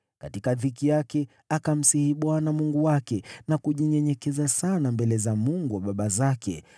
Katika dhiki yake akamsihi Bwana Mungu wake na kujinyenyekeza sana mbele za Mungu wa baba zake.